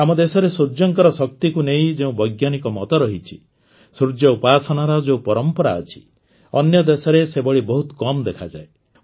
ଆମ ଦେଶରେ ସୂର୍ଯ୍ୟଙ୍କର ଶକ୍ତିକୁ ନେଇ ଯେଉଁ ବୈଜ୍ଞାନିକ ମତ ରହିଛି ସୂର୍ଯ୍ୟ ଉପାସନାର ଯେଉଁ ପରମ୍ପରା ଅଛି ଅନ୍ୟ ଦେଶରେ ସେଭଳି ବହୁତ କମ୍ ଦେଖାଯାଏ